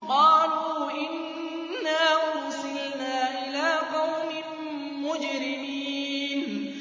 قَالُوا إِنَّا أُرْسِلْنَا إِلَىٰ قَوْمٍ مُّجْرِمِينَ